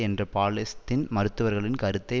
என்ற பாலஸ்தீன் மருத்துவர்களின் கருத்தை